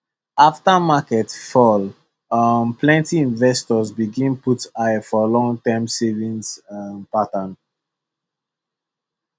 after market fall um plenty investors begin put eye for longterm savings um pattern